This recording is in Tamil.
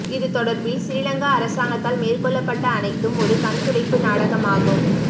இது தொடர்பில் சிறிலங்கா அரசாங்கத்தால் மேற்கொள்ளப்பட்ட அனைத்தும் ஒரு கண்துடைப்பு நாடகமாகும்